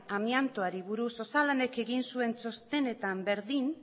amiantoari buruz osalanek egin zuen txostenetan berdin